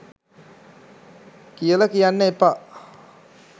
කියල කියන්න එපා.